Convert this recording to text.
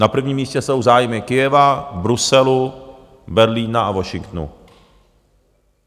Na prvním místě jsou zájmy Kyjeva, Bruselu, Berlína a Washingtonu.